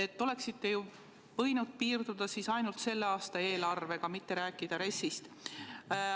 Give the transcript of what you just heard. Te oleksite võinud piirduda ainult selle aasta eelarvega, mitte rääkida RES-ist.